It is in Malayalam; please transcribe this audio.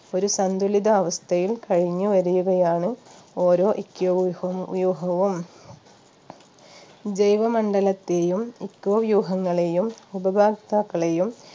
ഒരു സന്തുലിതാവസ്ഥയിൽ കഴിഞ്ഞു വരികയാണ് ഓരോ eco വ്യൂഹ വ്യൂഹവും ജൈവ മണ്ഡലത്തെയും eco വ്യൂഹങ്ങളെയും ഉപഭോക്താക്കളെയും